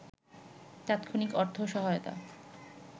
তাৎক্ষণিক অর্থ সহায়তা